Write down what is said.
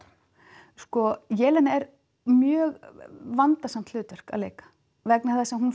Jelena er mjög vandasamt hlutverk að leika vegna þess að hún